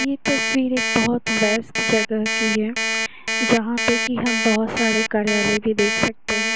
यह तस्वीर एक बहुत बड़ा बेस्ट जगह किया जहां पर कि हमें बहुत सारे कलर मैं भी देख सकते हैं।